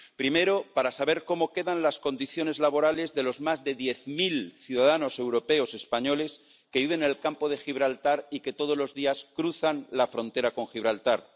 Primero, para saber cómo quedan las condiciones laborales de los más de diez mil ciudadanos europeos españoles que viven en el Campo de Gibraltar y que todos los días cruzan la frontera con Gibraltar